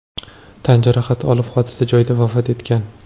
tan jarohati olib, hodisa joyda vafot etgan.